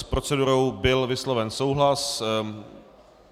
S procedurou byl vysloven souhlas.